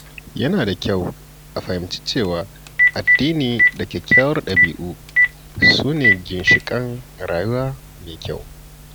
Yana da kyau a fahimci cewa addini da kyawawan ɗabi’u su ne ginshiƙan rayuwa mai kyau.